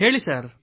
ಹೇಳಿ ಸರ್